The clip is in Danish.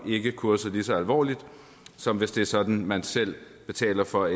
ikke kurset lige så alvorligt som hvis det er sådan at man selv betaler for